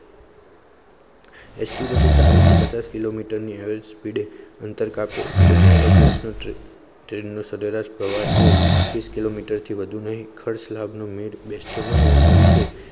ST બસો ચાલીશ થી પચાસ કિલોમીટર ની average speed અંતર કાપે તો એરોગેજ સરેરાસ પ્રવાસ એકવીસ કિલોમીટર થી વધુ ખર્ચ લાભ બેસતો ના હોવા ના લીધે